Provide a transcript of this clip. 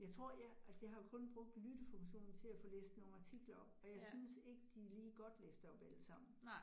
Jeg tror jeg, altså jeg har jo kun brugt lyttefunktionen til at få læst nogle artikler læst op, og jeg synes ikke, de lige godt læst op allesammen